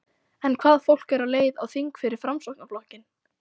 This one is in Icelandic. En hvaða fólk er á leið á þing fyrir Framsóknarflokkinn?